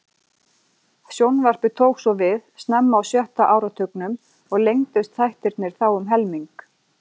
Sjónvarpið tók svo við snemma á sjötta áratugnum og lengdust þættirnir þá um helming.